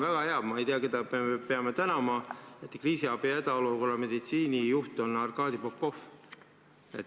Ma ei tea, keda me peame tänama, et hädaolukorra meditsiinijuht on Arkadi Popov.